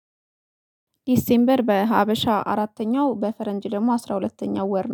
ዲሴምበር በሀበሻ አራተኛው በፈረንጅ ደግሞ አስራ ሁለተኛው ወር ነው